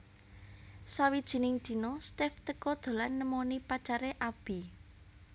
Sawijining dina Steff teka dolan nemoni pacare Abby